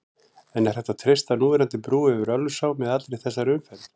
En er hægt að treysta núverandi brú yfir Ölfusá með allri þessari umferð?